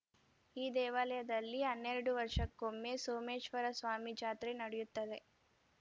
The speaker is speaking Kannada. ಈ ದೇವಾಲಯದಲ್ಲಿ ಹನ್ನೆರಡು ವರ್ಷಕ್ಕೊಮ್ಮೆ ಸೋಮೇಶ್ವರ ಸ್ವಾಮಿ ಜಾತ್ರೆ ನಡೆಯುತ್ತದೆ